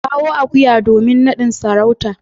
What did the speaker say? kawo akuya domin nadin sarauta.